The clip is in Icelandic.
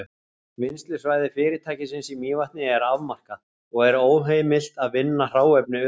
Vinnslusvæði fyrirtækisins í Mývatni er afmarkað, og er óheimilt að vinna hráefni utan þess.